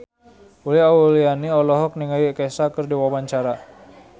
Uli Auliani olohok ningali Kesha keur diwawancara